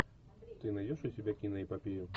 ты найдешь у себя киноэпопею